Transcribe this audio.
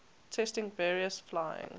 testing various flying